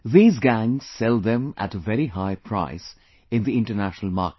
These gangs sell them at a very high price in the international market